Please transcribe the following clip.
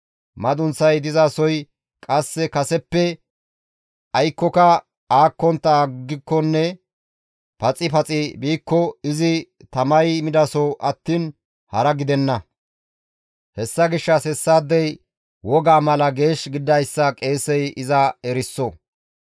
Madunththay dizasoy qasse kaseppe aykkoka aakkontta aggikonne paxi paxi biikko izi tamay midaso attiin hara gidenna; hessa gishshas hessaadey wogaa mala geesh gididayssa qeesey iza eriso.